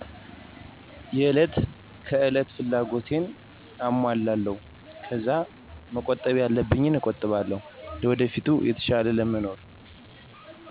የእለት ከእለት ፍላጎቴን አሞላለው ከዛ መቆጣብ ያለብኝን እቆጥባለው ለወደፊት የተሻለ ለመኖር።